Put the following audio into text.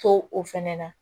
To o fɛnɛ na